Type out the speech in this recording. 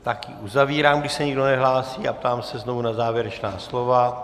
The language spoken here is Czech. Tak ji uzavírám, když se nikdo nehlásí, a ptám se znovu na závěrečná slova.